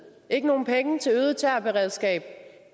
ikke nogen penge til øget terrorberedskab